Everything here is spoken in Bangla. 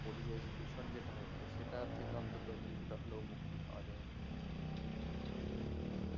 পরিবেশ দূষণ যেটা হচ্ছে সেটার থেকে অন্তত কিছুটা মুক্তি পাওয়া যায় আরকি